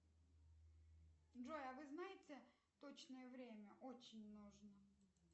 джой а вы знаете точное время очень нужно